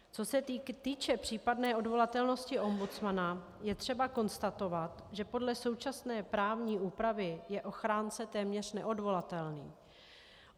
Co se týče případné odvolatelnosti ombudsmana, je třeba konstatovat, že podle současné právní úpravy je ochránce téměř neodvolatelný.